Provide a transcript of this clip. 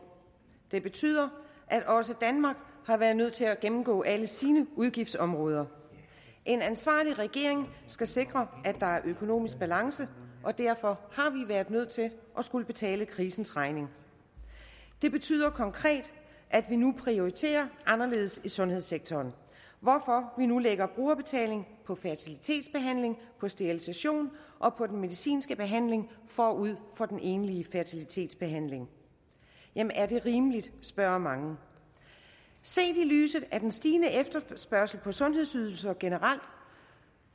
det betyder at også danmark har været nødt til at gennemgå alle sine udgiftsområder en ansvarlig regering skal sikre at der er økonomisk balance og derfor har vi været nødt til at skulle betale krisens regning det betyder konkret at vi nu prioriterer anderledes i sundhedssektoren hvorfor vi nu lægger brugerbetaling på fertilitetsbehandling på sterilisation og på den medicinske behandling forud for den egentlige fertilitetsbehandling jamen er det rimeligt spørger mange set i lyset af den stigende efterspørgsel på sundhedsydelser generelt og